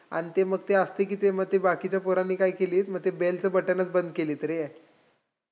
अखेरीस लेखक लिहितात शेतकऱ्याचा असूड मौलिक ग्रंथ आहे.मा~